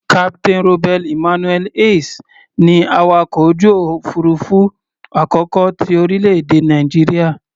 Captain Robert Emmanuel Hayes ni awakọ̀ ojú òfuurufú àkọ́kọ́ ti orílẹ̀-èdè Nàìjíríà.